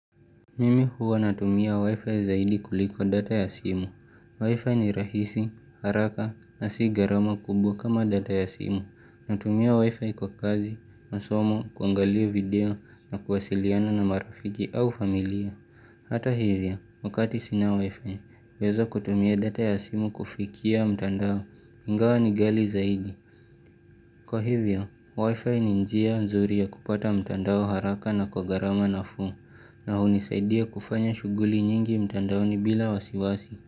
Mimi huwa natumia Wi-Fi zaidi kuliko data ya simu. Wi-Fi ni rahisi, haraka na si garama kubwa kama data ya simu. Natumia Wi-Fi kwa kazi, masomo, kuangalia video na kuwasiliana na marafiki au familia. Hata hivyo, wakati sina Wi-Fi, naweza kutumia data ya simu kufikia mtandao. Ingawa ni gali zaidi. Kwa hivyo, wifi ni njia mzuri ya kupata mtandao haraka na kwa garama nafuu na hunisaidia kufanya shuguli nyingi mtandaoni bila wasiwasi.